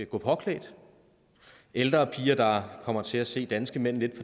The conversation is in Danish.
gå påklædt ældre piger der kommer til at se danske mænd lidt